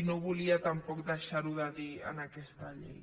i no volia tampoc deixar ho de dir en aquesta llei